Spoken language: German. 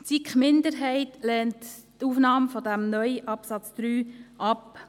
Die SiKMinderheit lehnt die Aufnahme dieses neuen Absatzes 3 ab.